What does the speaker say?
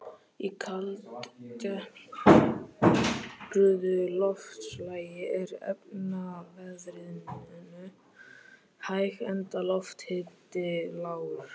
Í kaldtempruðu loftslagi er efnaveðrunin hæg enda lofthiti lágur.